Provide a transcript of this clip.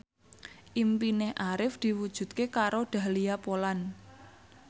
impine Arif diwujudke karo Dahlia Poland